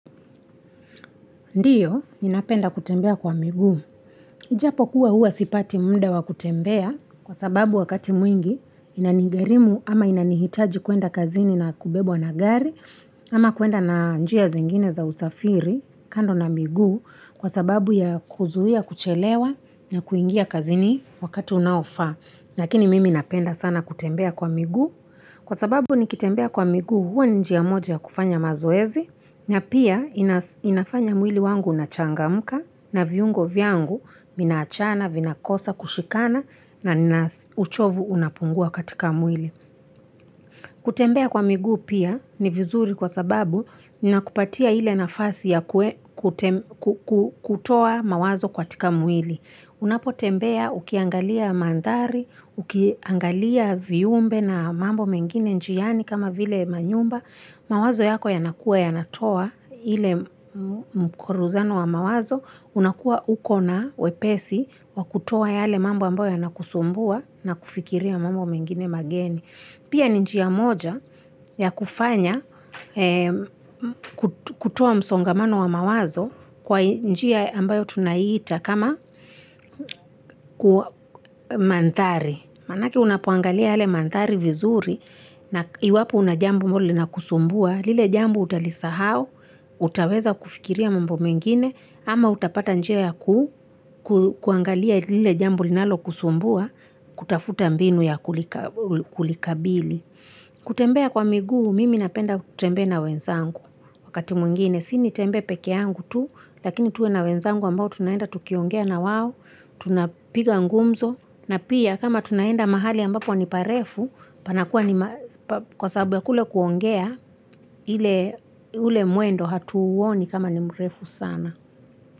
Ndiyo, ninapenda kutembea kwa miguu. Ijapo kuwa huwa sipati munda wa kutembea kwa sababu wakati mwingi inanigerimu ama inanihitaji kuenda kazini na kubebo na gari ama kuenda na njia zengine za usafiri kando na miguu kwa sababu ya kuzuia kuchelewa na kuingia kazini wakati unaofaa. Nakini mimi inapenda sana kutembea kwa miguu kwa sababu nikitembea kwa miguu huwa njiya moja kufanya mazoezi Nya pia inafanya mwili wangu unachangamka na viungo vyangu minachana, vinakosa, kushikana na uchovu unapungua katika mwili. Kutembea kwa miguu pia ni vizuri kwa sababu nina kupatia ile nafasi ya kutoa mawazo kwa katika mwili. Unapo tembea ukiangalia mandari, ukiangalia viumbe na mambo mengine njiani kama vile manyumba. Mawazo yako yanakua yanatoa hile mkoruzano wa mawazo unakua uko na wepesi wa kutoa yale mambo ambayo yanakusumbua na kufikiria mambo mengine mageni. Pia ni njia moja ya kufanya kutoa msongamano wa mawazo kwa ni njia ambayo tunaita kama kua manthari. Manaki unapoangalia hale mandhari vizuri na iwapo una jambo ambalo linakusumbua, lile jambo utalisahau, utaweza kufikiria mambo mengine, ama utapata njia ya ku, kuangalia lile jambo linalokusumbua, kutafuta mbinu ya kulikabili. Kutembea kwa miguu, mimi napenda kutembea na wenzangu. Wakati mwingine, sini tembe pekee yangu tu, lakini tuwe na wenzangu ambao tunaenda tukiongea na wawo, tunapiga ngumzo, na pia kama tunaenda mahali ambapo ni parefu, panakua ni kwa sababu ya kule kuongea ule muendo hatu uoni kama ni mrefu sana.